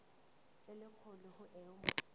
e le kgolo ho eo